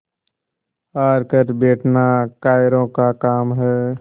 हार कर बैठना कायरों का काम है